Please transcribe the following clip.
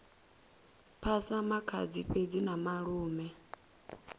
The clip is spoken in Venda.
phasa makhadzi fhedzi na malume